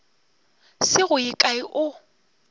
se go ye kae o